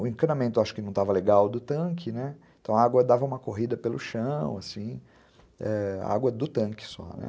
O encanamento acho que não estava legal do tanque, né, então a água dava uma corrida pelo chão, assim, água do tanque só, né.